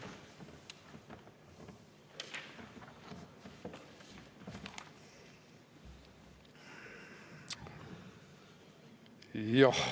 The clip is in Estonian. Jah.